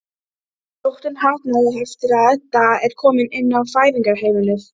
Sóttin harðnar eftir að Edda er komin inn á Fæðingarheimilið.